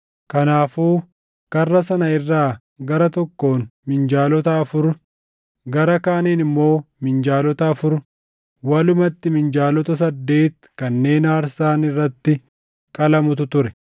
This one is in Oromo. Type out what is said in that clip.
Kanaafuu karra sana irraa gara tokkoon minjaalota afur, gara kaaniin immoo minjaalota afur, walumatti minjaalota saddeeti kanneen aarsaan irratti qalamutu ture.